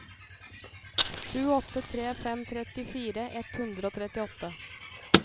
sju åtte tre fem trettifire ett hundre og trettiåtte